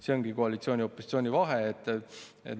See ongi koalitsiooni ja opositsiooni vahe.